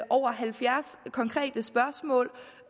over halvfjerds konkrete spørgsmål og